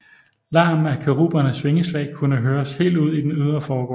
Larmen af kerubernes vingeslag kunne høres helt ud i den ydre forgård